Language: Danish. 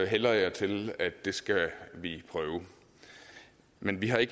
hælder jeg til at det skal vi prøve men vi har i